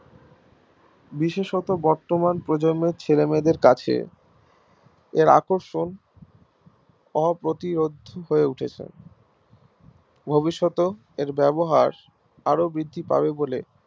বিশেষত বর্তমান প্রজন্মের ছেলেমেয়েদের কাছে এর আকর্ষণ অপ্রতিরোধ্য অপ্রতিরোধ্য হয় উঠেছে ভবিষ্যতেও এর ব্যবহার আরো বৃদ্ধি পাবে বলে